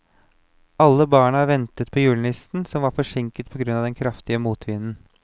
Alle barna ventet på julenissen, som var forsinket på grunn av den kraftige motvinden.